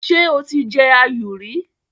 Ṣé o ti jẹ áyù rí?